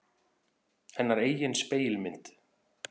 Hennar eigin spegilmynd.